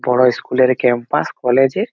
বড় স্কুল -এর campus college -এর।